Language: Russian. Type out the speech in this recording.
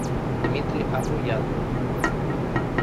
дмитрий апоян